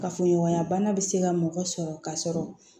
Kafoɲɔgɔnya bana bɛ se ka mɔgɔ sɔrɔ ka sɔrɔ